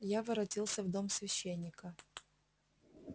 я воротился в дом священника